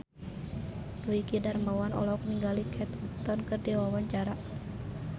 Dwiki Darmawan olohok ningali Kate Upton keur diwawancara